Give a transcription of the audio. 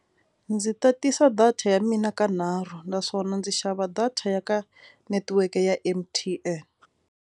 Ndzi tatisa data ya mina ka nharhu naswona ndzi xava data ya ka netiweke ya M_T_N.